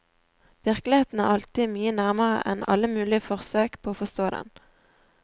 Virkeligheten er alltid mye nærmere enn alle mulige forsøk på å forstå den.